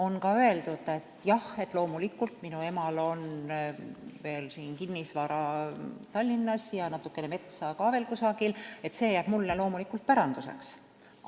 Näiteks on öeldud, et jah, loomulikult, minu emal on veel kinnisvara Tallinnas ja natukene metsa ka veel kusagil, aga see jääb loomulikult mulle päranduseks.